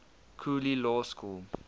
cooley law school